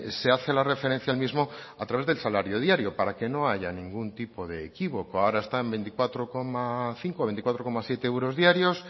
se hace la referencia al mismo a través del salario diario para que no haya ningún tipo de equívoco ahora está en veinticuatro coma cinco o veinticuatro coma siete euros diarios